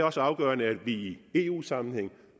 også afgørende at vi i eu sammenhæng